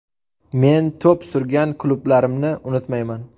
Men to‘p surgan klublarimni unutmayman.